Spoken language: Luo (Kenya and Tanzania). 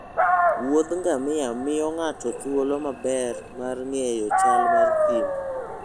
Wuoth ngamia miyo ng'ato thuolo maber mar ng'eyo chal mar thim.